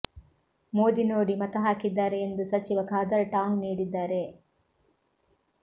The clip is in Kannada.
ಮೋದಿ ನೋಡಿ ಮತ ಹಾಕಿದ್ದಾರೆ ಎಂದು ಸಚಿವ ಖಾದರ್ ಟಾಂಗ್ ನೀಡಿದ್ದಾರೆ